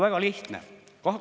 Väga lihtne!